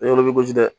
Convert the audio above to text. E yɔrɔ bɛ gosi